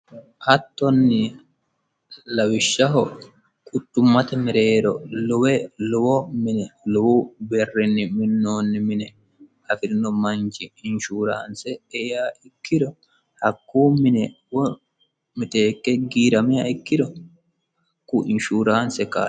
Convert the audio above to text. hattonni lawishshaho quchummate mereero lowe lowo mine lowo birrinni minoonni mine afirino manchi inshuuraanse eiha ikkiro hakkuu mine miteekke giirameha ikkiro haku inshuuraanse ka'litanno